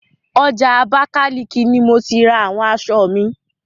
Ọjà Abákáliki ni mo ti ra àwọn aṣọ mi.